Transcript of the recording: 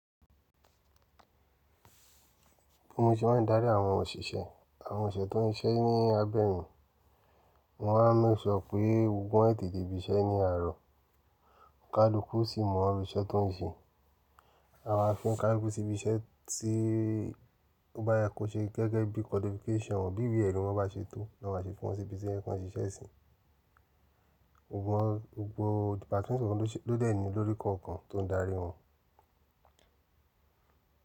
Bí mo ṣe máa ń darí àwọn òṣìṣẹ́, àwọn òṣìṣẹ́ tó ń ṣiṣẹ́ ní abẹ́ mi, mo maa n make sure pé gbogbo won tẹ̀te de ibi iṣẹ́ ni àárọ̀, kaluku sì mọ̀ iru íṣẹ́ tó ń ṣe. A máa fi onkaluku sí ibi iṣẹ́ tí ó bá yá ko ṣe gẹ́gẹ́ bí qualification won bí ìwe ẹri wọn bá ṣe tó, lọ́ ma ṣe fún wọn sí ibi iṣẹ́ kí wọ́n ṣe iṣẹ́ síi. Gbogbo, gbogbo departmentì ló dẹ̀ ní olórí kọ̀ọ̀kan tó ń darí wọn.